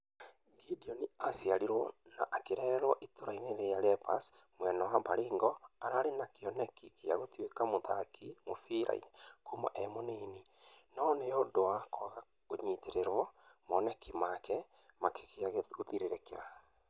Gideon araciarirwo na akarererwo ĩtũra rĩa lembus mwena wa baringo, ararĩ na kĩoneki gia gũtũĩka mũthaki mũfira kuma e mũnini , no nĩũndũ wa kũaga kũnyitererwo maoneki make makioneka gũthirĩrĩra.